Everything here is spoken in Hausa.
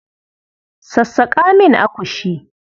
Sassaƙa min akushi.